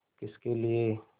किसके लिए